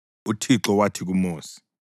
UThixo wathi kuMosi: